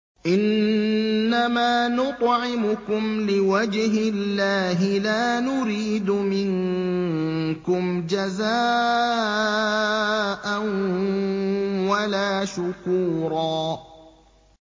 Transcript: إِنَّمَا نُطْعِمُكُمْ لِوَجْهِ اللَّهِ لَا نُرِيدُ مِنكُمْ جَزَاءً وَلَا شُكُورًا